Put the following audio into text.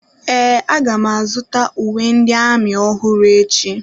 Ee, aga m azụta uwe ndị amị ọhụrụ echi.